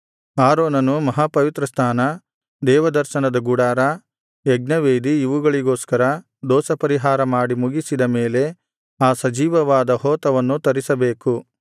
ಆರೋನನು ಮಹಾಪವಿತ್ರಸ್ಥಾನ ದೇವದರ್ಶನದ ಗುಡಾರ ಯಜ್ಞವೇದಿ ಇವುಗಳಿಗೋಸ್ಕರ ದೋಷಪರಿಹಾರ ಮಾಡಿ ಮುಗಿಸಿದ ಮೇಲೆ ಆ ಸಜೀವವಾದ ಹೋತವನ್ನು ತರಿಸಬೇಕು